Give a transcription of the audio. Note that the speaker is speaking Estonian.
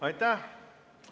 Aitäh!